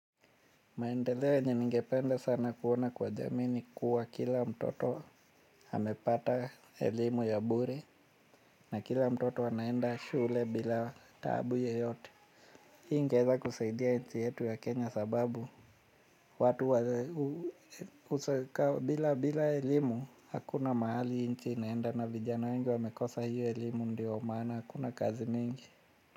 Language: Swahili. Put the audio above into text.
Maendeleo yenye ningepende sana kuona kwa jamii ni kuwa kila mtoto amepata elimu ya bure na kila mtoto anaenda shule bila taabu yeyote. Hii ingeeza kuseidia nchi yetu ya Kenya sababu watu wa usaka bila bila elimu hakuna mahali nchi inaenda na vijana wengi wamekosa hiyo elimu ndio maana hakuna kazi mingi.